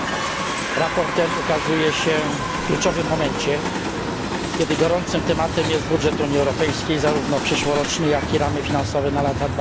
Sprawozdanie to ukazuje się w kluczowym momencie, kiedy gorącym tematem jest budżet Unii Europejskiej, zarówno przyszłoroczny, jak i ramy finansowe na lata